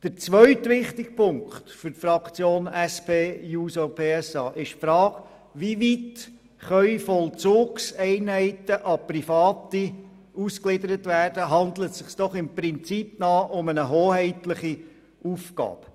Der zweite wichtige Punkt für die SP-JUSO-PSA-Fraktion ist die Frage, inwieweit Vollzugseinheiten an Private ausgegliedert werden können, handelt es sich doch im Prinzip um eine hoheitliche Aufgabe.